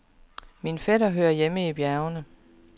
Min fætter hører hjemme i bjergene.